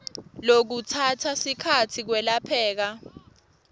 lokutsatsa sikhatsi kwelapheka